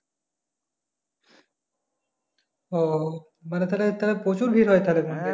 ও তাহলে, তাহলে মানে প্রচুর ভিড় হয় তাহলে?